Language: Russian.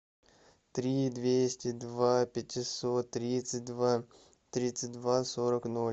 три двести два пятьсот тридцать два тридцать два сорок ноль